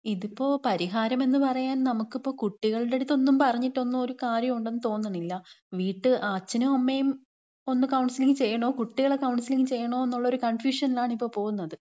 ഇതിപ്പം പരിഹാരം എന്ന് പറയാൻ നമുക്കിപ്പം കുട്ടികളുടെ അടുത്ത് ഒന്നും പറഞ്ഞിട്ടൊന്നും ഒരു കാര്യോം ഉണ്ടെന്ന് തോന്നണില്ല. വീട്ടുകാര് അച്ഛനും അമ്മയും ഒന്ന് കൗൺസിലിങ് ചെയ്യണോ, കുട്ടികളെ കൗൺസിലിങ് ചെയ്യണോ എന്നുള്ളൊരു കൺഫ്യൂഷനിലാണ് ഇപ്പോ പോകുന്നത്.